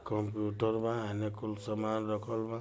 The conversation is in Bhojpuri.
कंप्यूटर बा कुछ सामन रखल बा